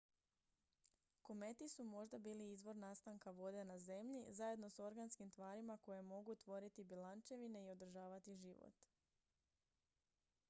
kometi su možda bili izvor nastanka vode na zemlji zajedno s organskim tvarima koje mogu tvoriti bjelančevine i održavati život